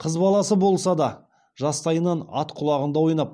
қыз баласы болса да жастайынан ат құлағында ойнап